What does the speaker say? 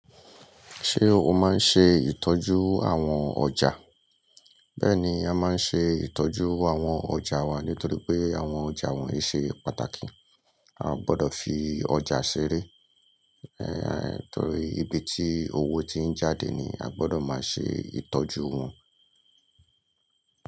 Ṣé o máa ń ṣe ìtọ́jú àwọn ọjà? Bẹ́ẹ̀ni, a máa ń ṣe ìtọ́jú àwọn ọjà wa nítorí pé àwọn ọjà wọ́nyi ṣe pàtàkì. A o gbọ́dọ̀ fi ọjà ṣeré, ẹéh nítorí ibi tí owó ti ń jáde ni a gbọ́dọ̀ máa ṣe ìtọ́jú wọn.